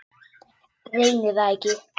Reyni það ekki.